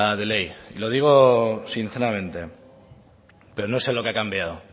de ley lo digo sinceramente pero no sé lo que ha cambiado